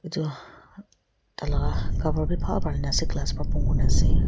itu talaga cover bi bhal banai na ase glass wa bon kurina ase.